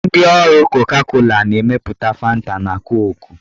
Ndị ụlọ ọrụ koka-kola na-emepụta fanta na koku.